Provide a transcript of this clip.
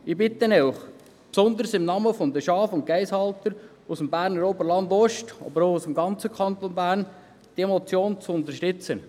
Ich bitte Sie, besonders im Namen der Schaf- und Geissenhalter aus dem Berner Oberland-Ost, aber auch aus dem ganzen Kanton Bern, diese Motion zu unterstützen.